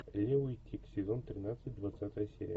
лео и тиг сезон тринадцать двадцатая серия